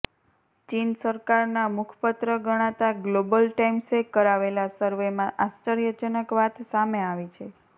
ચીન સરકારના મુખપત્ર ગણાતા ગ્લોબલ ટાઈમ્સે કરાવેલા સર્વેમાં આશ્ચર્યજનક વાત સામે આવી છે